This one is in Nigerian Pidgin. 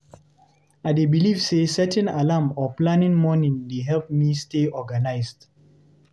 I dey believe say setting alarm or planning morning dey help me stay organized.